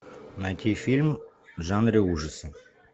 найти фильм в жанре ужасы